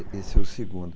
Esse é o segundo.